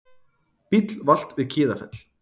Bíll valt við Kiðafell